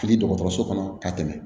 Fili dɔgɔtɔrɔso kɔnɔ ka tɛmɛ